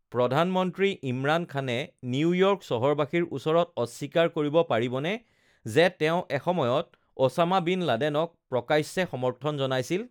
প্ৰধানমন্ত্ৰী ইমৰান খানে নিউয়ৰ্ক চহৰবাসীৰ ওচৰত অস্বীকাৰ কৰিব পাৰিবনে যে তেওঁ এসময়ত অ'ছামা বিন লাডেনক প্ৰকাশ্যে সমৰ্থন জনাইছিল?